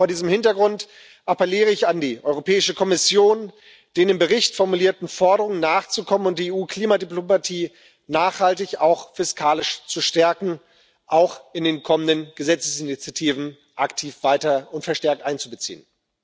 Vor diesem Hintergrund appelliere ich an die Europäische Kommission, den im Bericht formulierten Forderungen nachzukommen und die EU Klimadiplomatie auch fiskalisch nachhaltig zu stärken, sie auch in den kommenden Gesetzesinitiativen aktiv weiter und verstärkt einzubeziehen.